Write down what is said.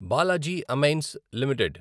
Balaji amines limited